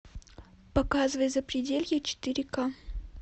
показывай запределье четыре ка